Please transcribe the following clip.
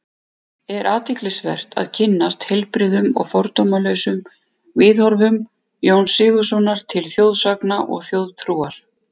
Er athyglisvert að kynnast heilbrigðum og fordómalausum viðhorfum Jóns Sigurðssonar til þjóðsagna og þjóðtrúar.